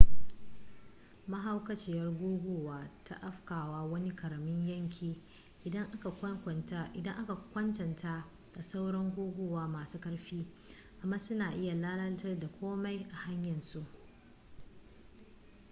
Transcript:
mahaukaciyar guguwa ta afkawa wani ƙaramin yanki idan aka kwatanta da sauran guguwa masu ƙarfi amma suna iya lalata komai a hanyar su